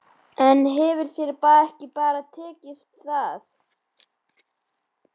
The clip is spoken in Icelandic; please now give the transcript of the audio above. En þér hefur bara ekki tekist það.